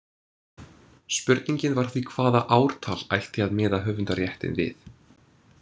Spurningin var því hvaða ártal ætti að miða höfundaréttinn við.